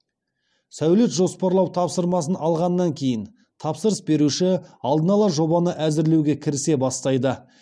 сәулет жоспарлау тапсырмасын алғаннан кейін тапсырыс беруші алдын ала жобаны әзірлеуге кірісе бастайды